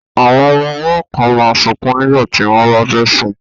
Àwọn ọmọ ọwọ́ kan máa sunkún nígbà tí wọ́n bá fẹ́ sùn